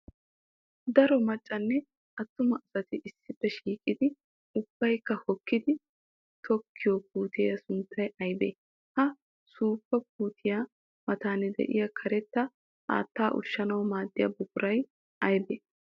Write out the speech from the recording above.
Daro maccanne atuma asaati issippe shiiqiddi ubbaykka hokkiddi tokiyo puutiya sunttay aybbe? Ha suufa puutiya matan de'iyaa karetta haatta ushshanawu maadiya buquray aybbe?